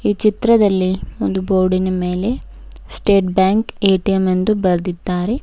ಈ ಚಿತ್ರದಲ್ಲಿ ಒಂದು ಬೋರ್ಡಿ ನ ಮೇಲೆ ಸ್ಟೇಟ್ ಬ್ಯಾಂಕ್ ಎ_ಟಿ_ಎಮ್ ಎಂದು ಬರದಿದ್ದಾರೆ.